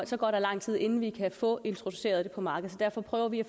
så går der lang tid inden vi kan få introduceret det på markedet derfor prøver vi at